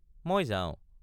মই যাওঁ।